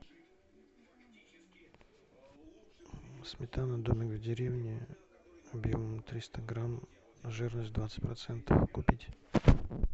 сметана домик в деревне объемом триста грамм жирность двадцать процентов купить